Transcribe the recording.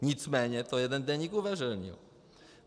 Nicméně to jeden deník uveřejnil.